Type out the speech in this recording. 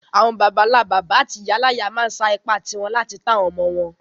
Àwon bàbánlá-bàbá áti ìyáláyá ma n sa ipá ti won láti to àwon ọmọ-ọmọ won